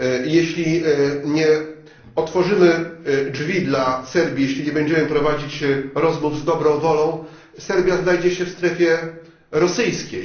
Jeśli nie otworzymy drzwi dla Serbii, jeśli nie będziemy prowadzić rozmów z dobrą wolą, Serbia znajdzie się w strefie rosyjskiej.